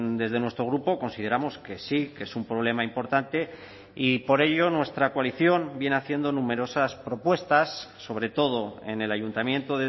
desde nuestro grupo consideramos que sí que es un problema importante y por ello nuestra coalición viene haciendo numerosas propuestas sobre todo en el ayuntamiento